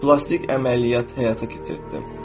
Plastik əməliyyat həyata keçirtdim.